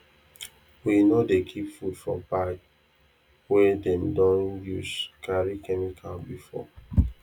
we no dey keep food for bag wey dem don use carry chemical before